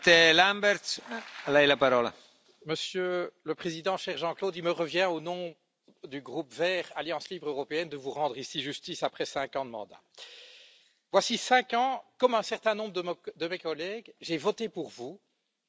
Monsieur le Président, cher Jean Claude, il me revient, au nom du groupe des Verts Alliance Libre européenne de vous rendre ici justice après cinq ans de mandat. Voici cinq ans, comme un certain nombre de mes collègues, j'ai voté pour vous, comme président de la Commission européenne.